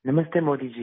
नमस्ते मोदी जी